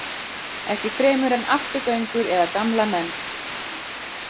Ekki fremur en afturgöngur eða gamla menn.